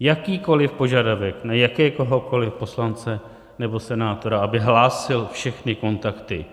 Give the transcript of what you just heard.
Jakýkoliv požadavek na jakéhokoli poslance nebo senátora, aby hlásil všechny kontakty,